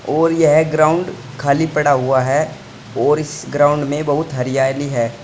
और यह ग्राउंड खाली पड़ा हुआ है और इस ग्राउंड में बहुत हरियाली है।